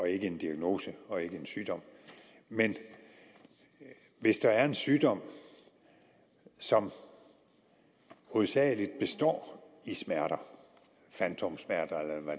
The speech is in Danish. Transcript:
ikke en diagnose og ikke en sygdom men hvis der er en sygdom som hovedsagelig består af smerter fantomsmerter